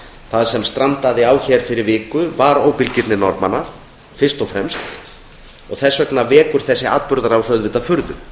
það sem strandaði á fyrir viku var óbilgirni norðmanna fyrst og fremst og þess vegna vekur þessi atburðarás furðu